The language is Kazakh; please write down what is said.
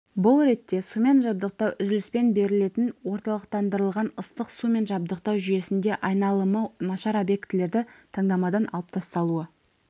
бұл ретте сумен жабдықтау үзіліспен берілетін орталықтандырылған ыстық сумен жабдықтау жүйесінде айналымы нашар объектілерді таңдамадан алып тасталуы